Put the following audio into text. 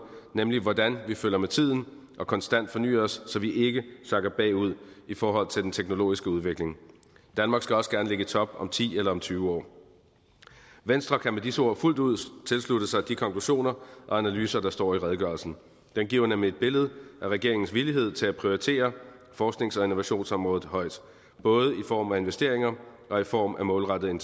nemlig hvordan vi følger med tiden og konstant fornyer os så vi ikke sakker bagud i forhold til den teknologiske udvikling danmark skal også gerne ligge i top om ti eller tyve år venstre kan med disse ord fuldt ud tilslutte sig de konklusioner og analyser der står i redegørelsen den giver nemlig et billede af regeringens villighed til at prioritere forsknings og innovationsområdet højt både i form af investeringer og i form af målrettede